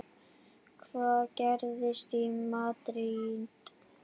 Hvað gerist í Madríd?